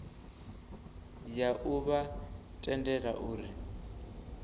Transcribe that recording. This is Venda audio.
ya u vha tendela uri